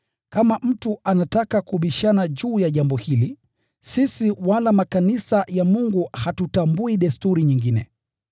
Kama mtu anataka kubishana juu ya jambo hili, sisi wala makanisa ya Mungu hatutambui desturi nyingine.